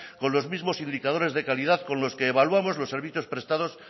con los mismos indicadores de calidad con los que evaluamos los servicios prestados